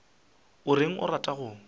o reng o rata go